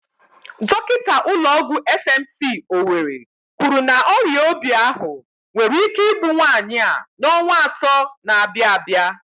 Dọkinta ụlọ ọgwụ FMC, Owerri kwuru na ọrịa obi ahụ nwere ike igbu nwaanyị a n'ọnwa atọ na-abịa abịa.